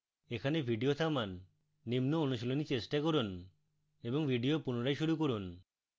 এখানে video থামান নিম্ন অনুশীলনী চেষ্টা করুন এবং video পুনরায় শুরু করুন